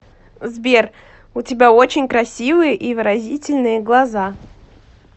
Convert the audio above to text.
сбер у тебя очень красивые и выразительные глаза